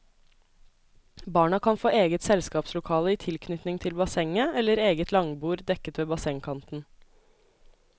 Barna kan få eget selskapslokale i tilknytning til bassenget, eller eget langbord dekket ved bassengkanten.